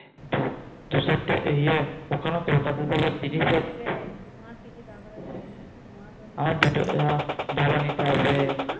দু চারটে ইএ ওখানেও কলকাতা তোমার কি কি দরকার আছে তোমারো তো নিতে হবে আমার জামা নিতে হবে